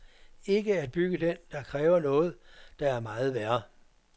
Ikke at bygge den kræver noget, der er meget værre.